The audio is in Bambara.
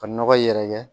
Ka nɔgɔ yɛrɛkɛ